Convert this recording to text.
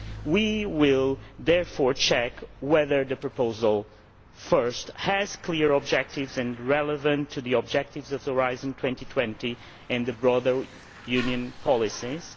We will therefore check whether the proposal, firstly, has clear objectives and is relevant to the objectives of Horizon 2020 and the broader Union policies